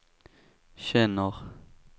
känner